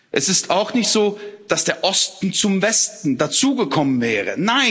Es ist auch nicht so, dass der Osten zum Westen dazugekommen wäre.